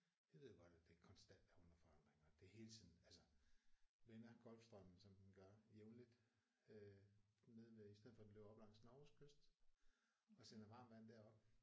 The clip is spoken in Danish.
Vi ved jo godt at det konstant er under forandring og det hele tiden altså vender Golfstrømmen som den gør jævnligt øh nede ved i stedet for den løber op langs Norges kyst og sender varmt varm derop